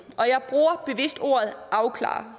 og jeg bruger bevidst ordet afklarer